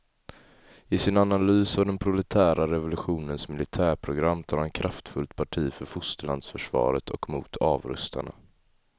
I sin analys av den proletära revolutionens militärprogram tar han kraftfullt parti för fosterlandsförsvaret och mot avrustarna.